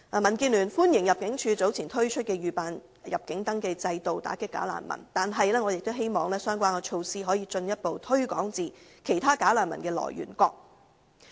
民建聯歡迎入境處早前推出預辦入境登記制度以打擊"假難民"，但我亦希望相關措施可以進一步擴展至其他"假難民"的來源國。